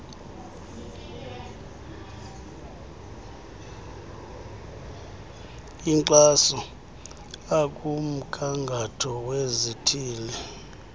enkxaso akumgangatho wezithili